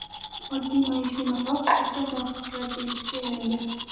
Oddiy maishiy matoh salkam muvaffaqiyat belgisiga aylangan.